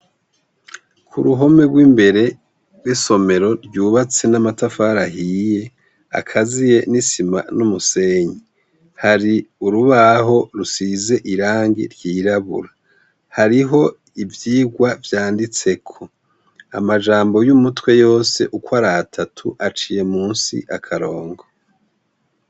K'uruhome rw'imbere rw'isomero ryubatse n'amatafari ahiye akaziye n'isima n'umusenyi, hari urubaho rusize irangi ry'irabura, hariho ivyigwa vyanditseko, amajambo y'umutwe yose uko ari atatu aciye musi akarongo.